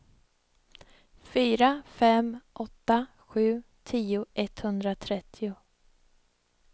fyra fem åtta sju tio etthundratrettio